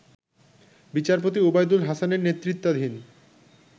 বিচারপতি ওবায়দুল হাসানের নেতৃত্বাধীন